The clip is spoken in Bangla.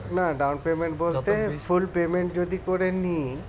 না down payment বলতে full payment যদি করে নি